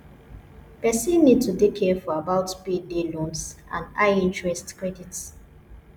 person need to dey careful about payday loans and high interest credit